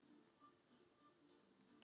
Önnur aðferð